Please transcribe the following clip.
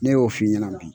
Ne y'o f'i ɲɛna bi